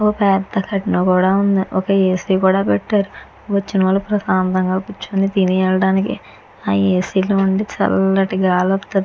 ఓ పెద్ద కర్టిన్ కూడ ఉంది. ఒక్క ఏసీ కూడ పెట్టారు వచ్చిన వాళ్ళు ప్రశాంతం గా కూర్చుని తిని ఎలడానికి ఆ ఏసీ లో నుంచి చల్లటి గాలి వస్తది.